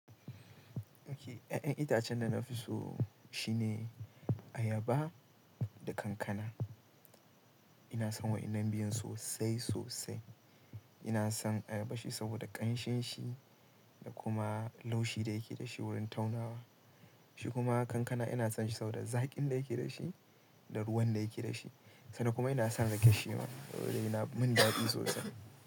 Okay, ya'yan itacen da na fi so shine ayaba da kankana. Ina son waɗannan biyun sosai sosai. Ina son ayaba shi saboda ƙanshin shi da kuma laushi da yake dashi wurin taunawa. Shi kuma kankana ina son shi saboda zaƙin da yake dashi, da ruwan da yake dashi. Ina son ayaba shi saboda ƙanshin shi da kuma laushi da yake dashi wurin taunawa.